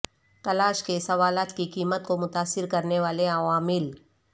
تلاش کے سوالات کی قیمت کو متاثر کرنے والے عوامل